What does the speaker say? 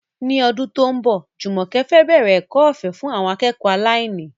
Ní ọdún tó ń bọ̀, Jumoke fẹ́ bẹ̀rẹ̀ ẹ̀kọ́ ọ̀fẹ́ fún àwọn akẹ́kọ̀ọ́ aláìní.